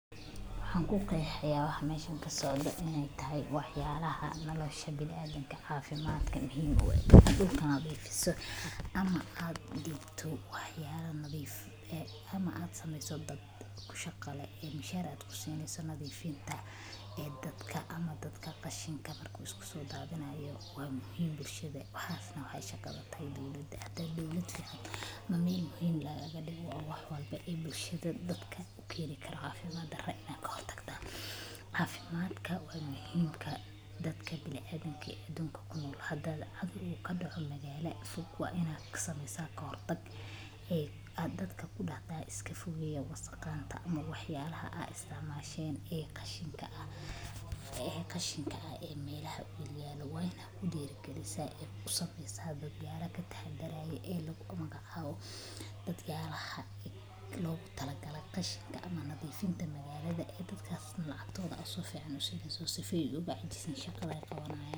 Waxan kuqexaya waxa meshan kasocdo in ey tahay wax yaalaha nolosha biniadamka caafimadka muhiim ueh dulkan ad ifiso ama aad diibto wax yala nadhiif ama aad sameyso dad kushaqa leh ee mishaar aad jusineyso nadhiifinta ee dadka ama dadka qashinka marka uu iskasodadhinayo waa muhiim bulshada waxas neh waxaa shaqadha tahay dowlada hadey dowlad fican mel muhiim lagagadigo oo wax walba ee bulshada dadka ukeni karo caafimad daradha kahor tagaa caafimadka waa muhiim marka dadka biniadamka adunka kunool hada cudhur uu kadoco magaala fog waa inaad kasameya kahortag ee aad dadka kunool dahdaa iskafogeeya wasaqanta camal wax yaalaha aad isticmasheen ee qashinka ee melaha yalyaalo waa inaad kudirigalisa ee usamesaa dadyala kataxadharayo ee lagu magacaabo dadyaalha logutalagaley qashinka ee nadhiifinta magaalada ee dadkas neh lacagtoodha sifican usineysa sufoo ugacajisin shaqadha ey qabanayaan.